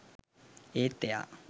ඒත් එයා